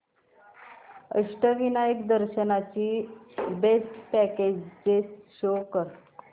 अष्टविनायक दर्शन ची best packages show कर